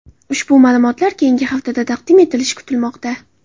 Ushbu ma’lumotlar keyingi haftada taqdim etilishi kutilmoqda.